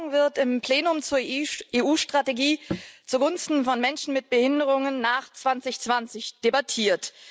Morgen wird im Plenum zur EU Strategie zugunsten von Menschen mit Behinderungen nach 2020 debattiert.